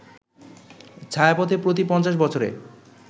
ছায়াপথে প্রতি ৫০ বছরে